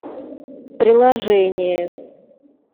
приложение